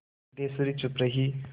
सिद्धेश्वरी चुप रही